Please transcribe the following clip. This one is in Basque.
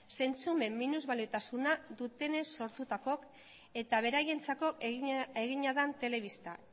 zentzumen minusbaliotasuna dutenez sortutako eta beraientzako egina den telebista